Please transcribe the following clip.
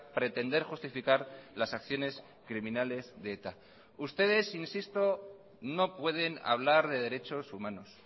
pretender justificar las acciones criminales de eta ustedes insisto no pueden hablar de derechos humanos